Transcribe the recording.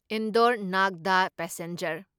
ꯏꯟꯗꯣꯔ ꯅꯥꯒꯗꯥ ꯄꯦꯁꯦꯟꯖꯔ